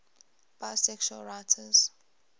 bisexual writers